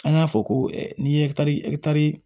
An y'a fɔ ko ni ye ɛkitari